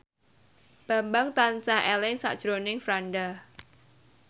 Bambang tansah eling sakjroning Franda